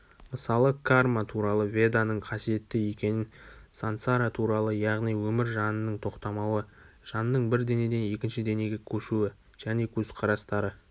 мысалы карматуралы веданың қасиетті екенін сансаратуралы яғни өмір жанының тоқтамауы жанның бір денеден екінші денеге көшуі және көзкарастары